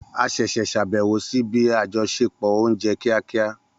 A ṣẹ̀ṣẹ̀ ṣàbẹ̀wò sí ibi àjọṣepọ̀ oúnjẹ kíákíá